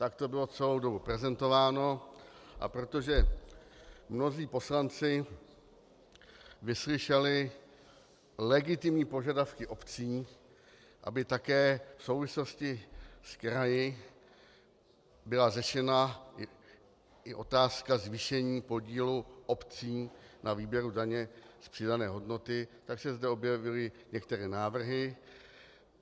Tak to bylo celou dobu prezentováno, a protože mnozí poslanci vyslyšeli legitimní požadavky obcí, aby také v souvislosti s kraji byla řešena i otázka zvýšení podílu obcí na výběru daně z přidané hodnoty, tak se zde objevily některé návrhy.